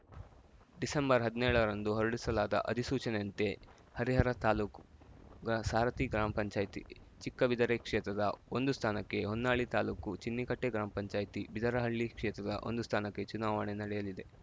December ಹದ್ನೇಳ ರಂದು ಹೊರಡಿಸಲಾದ ಅಧಿಸೂಚನೆಯಂತೆ ಹರಿಹರ ತಾಲ್ಲುಕು ಗ್ರಾ ಸಾರಥಿ ಗ್ರಾಮ ಪಂಚಾಯತಿ ಚಿಕ್ಕಬಿದರೆ ಕ್ಷೇತ್ರದ ಒಂದು ಸ್ಥಾನಕ್ಕೆ ಹೊನ್ನಾಳಿ ತಾಲುಕು ಚಿನ್ನಿಕಟ್ಟೆ ಗ್ರಾಮ ಪಂಚಾಯತಿ ಬಿದರಹಳ್ಳಿ ಕ್ಷೇತ್ರದ ಒಂದು ಸ್ಥಾನಕ್ಕೆ ಚುನಾವಣೆ ನಡೆಯಲಿದೆ